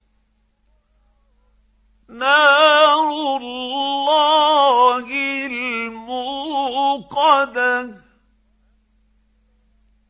نَارُ اللَّهِ الْمُوقَدَةُ